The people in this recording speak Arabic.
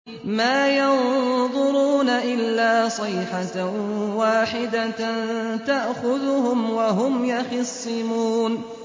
مَا يَنظُرُونَ إِلَّا صَيْحَةً وَاحِدَةً تَأْخُذُهُمْ وَهُمْ يَخِصِّمُونَ